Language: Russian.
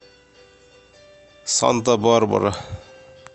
санта барбара